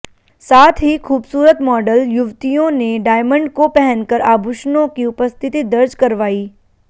साथ ही खूबसूरत मॉडल युवतियों ने डायमंड को पहनकर आभूषणों की उपस्थिति दर्ज कार्रवाई